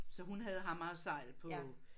Så hun havde ham altså på